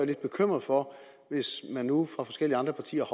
lidt bekymret hvis de nu fra forskellige andre partiers